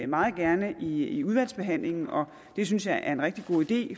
meget gerne i udvalgsbehandlingen og det synes jeg er en rigtig god idé